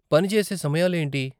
పని చేసే సమయాలు ఏంటి?